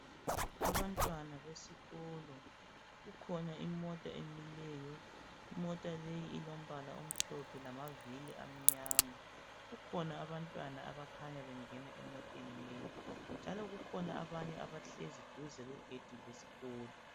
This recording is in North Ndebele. Abantwana besikolo, kukhona imota emileyo, imota leyi ilombala omhlophe lamavili amnyama. Kukhona abantwana abakhanya bengena emoteni leyi njalo kukhona abanye abahlezi duze kwegedi lesikolo.